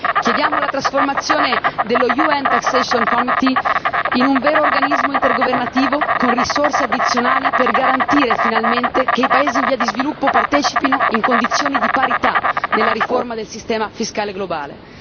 Chiediamo la trasformazione del Comitato fiscale dell'ONU in un vero organismo intergovernativo con risorse addizionali per garantire finalmente che i paesi in via di sviluppo partecipino in condizioni di parità alla riforma del sistema fiscale globale.